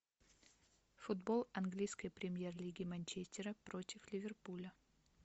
футбол английской премьер лиги манчестера против ливерпуля